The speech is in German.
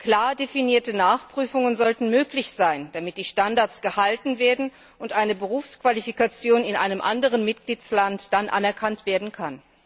Klar definierte Nachprüfungen sollten möglich sein, damit die Standards gehalten werden und eine Berufsqualifikation dann in einem anderen Mitgliedstaat anerkannt werden kann.